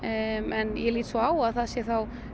en ég lít svo á að það sé